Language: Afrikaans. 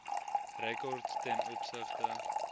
rekords ten opsigte